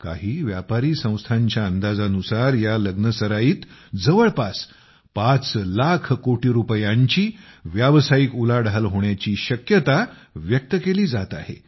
काही व्यापारी संस्थांच्या अंदाजानुसार या लग्नसराईत जवळपास 5 लाख कोटी रुपयांची व्यावसायिक उलाढाल होण्याची शक्यता व्यक्त केली जात आहे